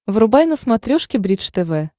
врубай на смотрешке бридж тв